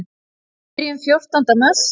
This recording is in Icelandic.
Við byrjuðum fjórtánda mars.